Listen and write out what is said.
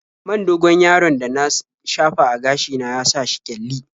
Man dogon-yaron da na shafa a gashi na ya sa shi ƙyalli.